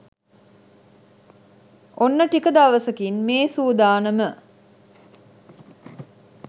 ඔන්න ටික දවසකින් මේ සුදානම